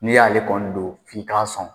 Ni y'ale kɔni don f'i k'a sɔn.